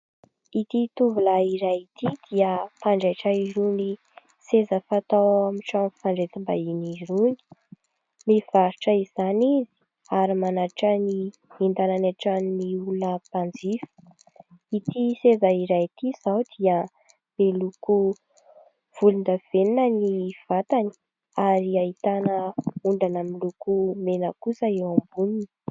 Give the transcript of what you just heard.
Ity tovolahy iray ity dia mpanjaitra irony seza fatao ao amin'ny fandraisam-bahiny irony. Mivarotra izany izany izy ary manatitra ny entana any an-tranon'ny olona mpanjifa. Ity seza iray ity izao dia miloko volondavenona ny vatany ary ahitana ondana miloko mena kosa eo amboniny.